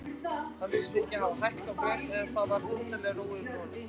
Hann virtist hafa hækkað og grennst og það var undarleg ró yfir honum.